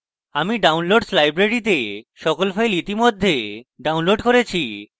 আমি downloads library তে সকল files ইতিমধ্যে downloads করেছি